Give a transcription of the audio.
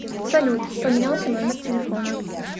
салют поменялся номер телефона